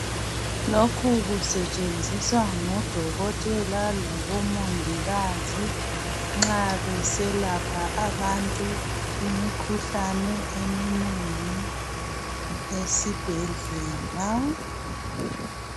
Lokhu kusetshenziswa ngodokotela labomongikazi nxa beselapha abantu imikhuhlane eminengi esibhedlela.